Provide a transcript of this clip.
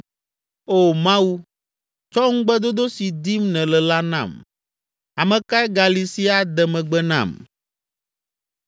“O Mawu, tsɔ ŋugbedodo si dim nèle la nam. Ame kae gali si ade megbe nam?